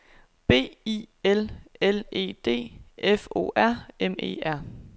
B I L L E D F O R M E R